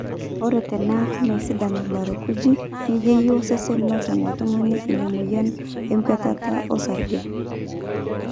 ore teneeku meesidan ilairakuj nejeyu osesen netum oltung'ani ina mweyian enkwetata osarge